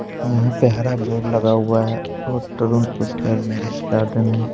यहां पे हरा बोर्ड लगा हुआ है और तरुण पुष्कर मेरिश गार्डन है।